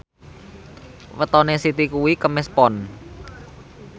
wetone Siti kuwi Kemis Pon